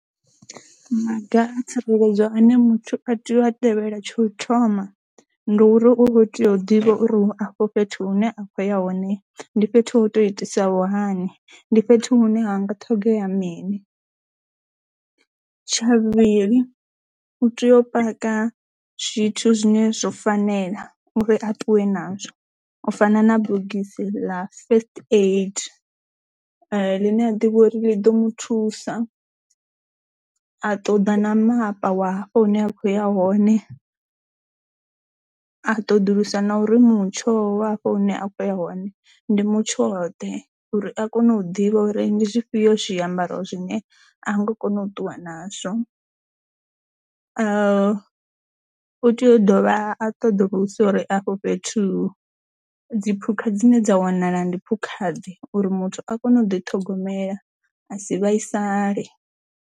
Maga a tsireledzo ane muthu a tea u a tevhela tsha u thoma ndi uri u kho tea u ḓivha uri u afho fhethu hune a kho ya hone ndi fhethu ho to itisaho hani ndi fhethu hune ha nga ṱhogomela mini. tsha vhuvhili u tea u paka zwithu zwine zwo fanela uri a ṱuwe nazwo u fana na bogisi la first aid ḽine a ḓivha uri ḽi ḓo muthusa a ṱoḓa na mapa wa hafho hune a khou ya hone. A ṱoḓulusa na uri mutsho wa hafho hune a khou ya hone uri ndi mutsho ḓe uri a kone u ḓivha uri ndi zwifhio zwiambaro zwine a ngo kona u ṱuwa nazwo, u tea u dovha a ṱoḓulusa uri afho fhethu dziphukha dzine dza wanala ndi phukha ḓe uri muthu a kone u ḓi ṱhogomela a si vhaisale.